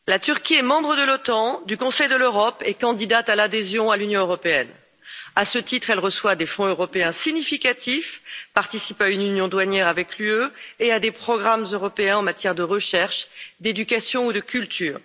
Monsieur le Président, la Turquie est membre de l'OTAN et du Conseil de l'Europe et candidate à l'adhésion à l'Union européenne. À ce titre, elle reçoit des fonds européens significatifs, participe à une union douanière avec l'UE et à des programmes européens en matière de recherche, d'éducation ou de culture.